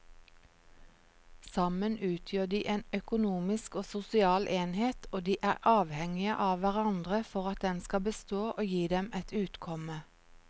Sammen utgjør de en økonomisk og sosial enhet og de er avhengige av hverandre for at den skal bestå og gi dem et utkomme.